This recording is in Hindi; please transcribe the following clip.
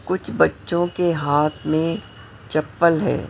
कुछ बच्चों के हाथ में चप्पल है।